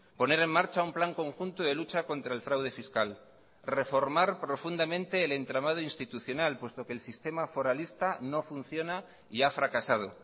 poner en marcha un plan conjunto de lucha contra el fraude fiscal reformar profundamente el entramado institucional puesto que el sistema foralista no funciona y ha fracasado